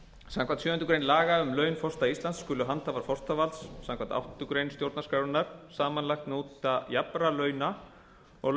samkvæmt sjöundu grein laga um laun forseta íslands skulu handhafar forsetavalds samkvæmt áttundu grein stjórnarskrárinnar samanlagt njóta jafnra launa og